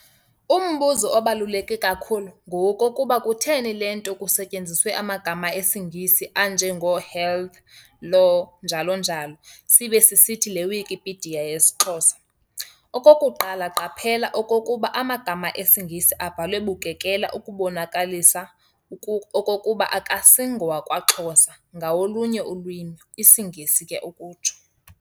Umbuzo obaluleke kakhulu ngowokokuba, kutheni le nto kusetyenziswe amagama esiNgesi, anje ngo-"Health", "Law", njalo njalo, sibe sisithi le "Wikipedia" yeyesiXhosa. Okokuqala qaphela okokuba amagama esingesi abhalwe bukekela ukubonakalisa okokuba akasingowakwaXhosa ngawolunye ulwimi, isiNgesi ke ukutsho.